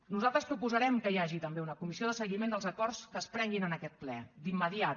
nosaltres proposarem que hi hagi també una comissió de seguiment dels acords que es prenguin en aquest ple d’immediat